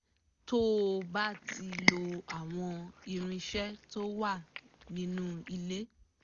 tó o bá ti lo àwọn irinṣẹ́ tó wà nínú ilé